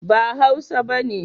ba hausa bane